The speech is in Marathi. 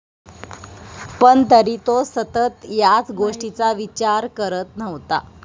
पण, तरी तो सतत याच गोष्टीचा विचार करत नव्हता.